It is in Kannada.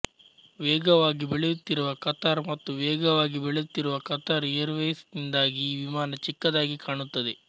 ವೇಗವಾಗಿ ಬೆಳೆಯುತ್ತಿರುವ ಕತಾರ್ ಮತ್ತು ವೇಗವಾಗಿ ಬೆಳೆಯುತ್ತಿರುವ ಕತಾರ್ ಏರ್ ವೇಯ್ಸ್ ನಿಂದಾಗಿ ಈ ವಿಮಾನ ಚಿಕ್ಕದಾಗಿ ಕಾಣುತ್ತದೆ